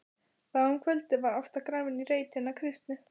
Þá um kvöldið var Ásta grafin í reit hinna kristnu.